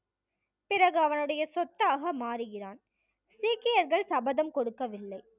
பிறகு அவனுடைய சொத்தாக மாறுகிறான் சீக்கியர்கள் சபதம் கொடுக்கவில்லை